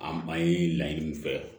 An ye laɲini min kɛ